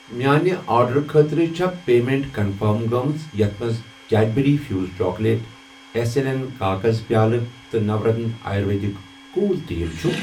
میانہِ آرڈرُٕ خٲطرٕ چھا پیمیٚنٹ کنفٔرم گٔمٕژ یتھ مَنٛز Cadbury Fuse chocolate S L N کاکذ پیٛالہٕ تہٕ نورتنہ آیُرویدِک کوٗل تیٖل چھ؟